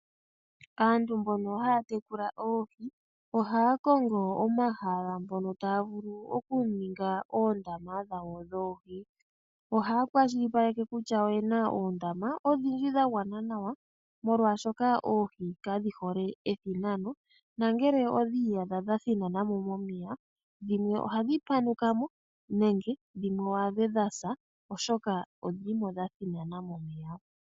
Aantu mbono haya tekula oohi ohaya kongo omahala mpono taya vulu okuninga oondama dhawo dhoohi. Ohaya kwashilipaleke kutya oyena oondama oshindji dha gwana nawa molwaashoka oohi kadhihole ethinano nongele odhi iyadha dha thinanamo momeya dhimwe ohadhi panukamo nenge dhimwe wu adhe dhasa oshoka odhilimo dha thinanamo.